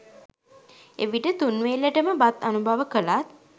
එවිට තුන්වේලට ම බත් අනුභව කළත්